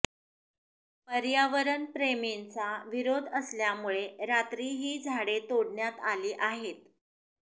पर्यावरण प्रेमींचा विरोध असल्यामुळे रात्री ही झाडे तोडण्यात आली आहेत